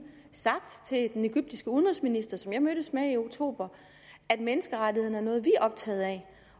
sagt til den egyptiske udenrigsminister som jeg mødtes med i oktober at menneskerettighederne er noget vi er optaget af